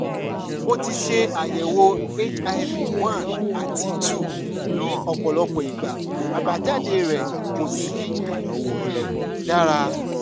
mo ti ṣe àyẹ̀wò hiv one àti two ní ọ̀pọ̀lọpọ̀ ìgbà àbájáde rẹ̀ kò sì um dára